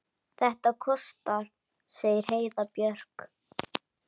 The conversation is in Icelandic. Þetta kostar, segir Heiða Björg.